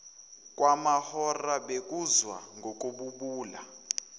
kwamahora bekuzwa ngokububula